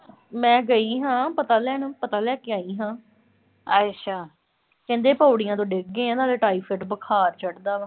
ਮੈਂ ਗਈ ਹਾਂ ਪਤਾ ਲੈਣ। ਪਤਾ ਲੈ ਕੇ ਆਈ ਹਾਂ। ਕਹਿੰਦੇ ਪੌੜੀਆਂ ਤੋਂ ਡਿੱਗ ਗਏ ਆ, ਨਾਲੇ ਟਾਈਫਾਈਡ ਬੁਖਾਰ ਚੜਦਾ ਵਾ।